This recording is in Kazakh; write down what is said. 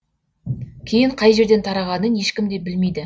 кейін қай жерден тарағанын ешкім де білмейді